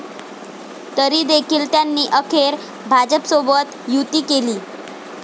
तरीदेखील त्यांनी अखेर भाजपसोबत युती केली.